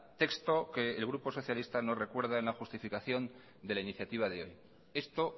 texto que el grupo socialista no recuerda en la justificación de la iniciativa del hoy esto